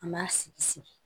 An b'a sigi sigi